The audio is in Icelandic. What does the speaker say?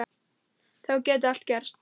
Þá gæti allt gerst.